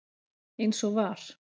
eins og var.